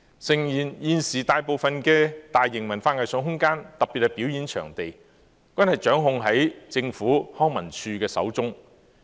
誠然，現時大部分大型文化藝術空間，特別是表演場地，均掌控在政府康樂及文化事務署手中。